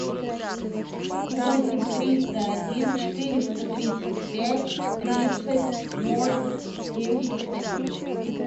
восемь триста один четыреста тридцать пять тридцать ноль семьдесят один